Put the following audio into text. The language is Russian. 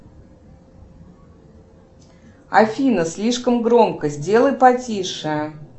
афина слишком громко сделай потише